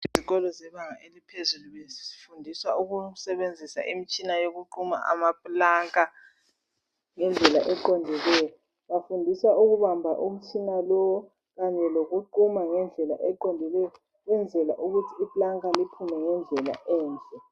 Izikolo zebanga eliphezulu bezifundiswa ukusebenzisa imitshina yokuquma amaplanka ngendlela eqondileyo. Bafundiswa ukubamba umtshina lo kanye lokuquma ngendlela eqondileyo ukwenzela ukuthi iplanka liphume ngendlela enhle